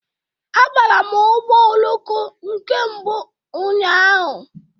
Abara m ụgbọ oloko nke mbụ m ụnyaahụ.